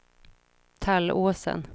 Tallåsen